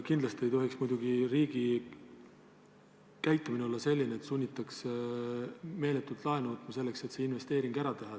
Kindlasti ei tohiks riigi käitumine olla selline, et sunnitakse meeletult laenu võtma, et plaanitud investeeringud ära teha.